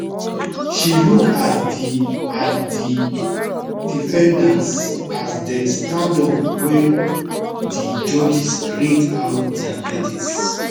she look at di at di defendants as dem stand up wen di judges read out dia verdicts